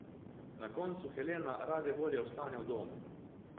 Na koncu Helena rade volje ostane v domu.